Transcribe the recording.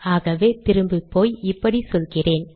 ஆகவே திரும்பிப்போய் இப்படி சொல்லுகிறேன்